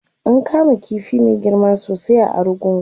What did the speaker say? an kama ƙifi Mai girma sosai a argungu